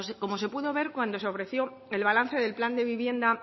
como se pudo ver cuando se ofreció el balance del plan de vivienda